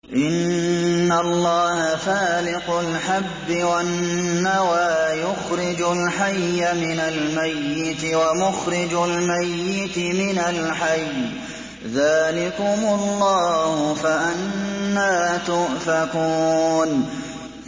۞ إِنَّ اللَّهَ فَالِقُ الْحَبِّ وَالنَّوَىٰ ۖ يُخْرِجُ الْحَيَّ مِنَ الْمَيِّتِ وَمُخْرِجُ الْمَيِّتِ مِنَ الْحَيِّ ۚ ذَٰلِكُمُ اللَّهُ ۖ فَأَنَّىٰ تُؤْفَكُونَ